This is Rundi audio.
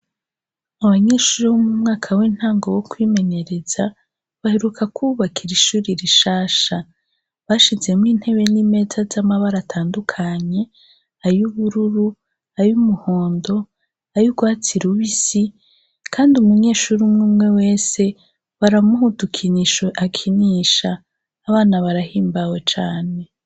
Abanyeshuri bo mu mwaka w'intango wo kwimenyereza baheruka kububakira ishuri rishasha. Bashizemwo intebe n'imeza y'amabara atandukanye, ay'ubururu, ay'umuhondo, ay'ugwatsi rubisi kandi umunyeshure umwumwe wese baramuha udukinisho akinisha. Abana barahimbawe cane.